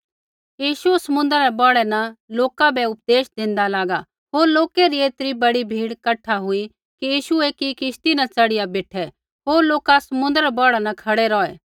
यीशु समुन्द्रा रै बौढ़ा न लोका बै उपदेश देंदा लागा होर लोकै री ऐतरी बड़ी भीड़ कठा हुई कि यीशु एकी किश्ती न च़ढ़िया बेठै होर लोका समुन्द्रा रै बौढ़ा न खड़ै रौहै